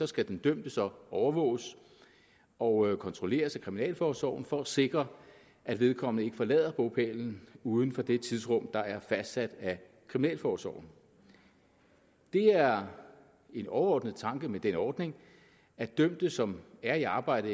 skal den dømte så overvåges og kontrolleres af kriminalforsorgen for at sikre at vedkommende ikke forlader bopælen uden for det tidsrum der er fastsat af kriminalforsorgen det er en overordnet tanke med den ordning at dømte som er i arbejde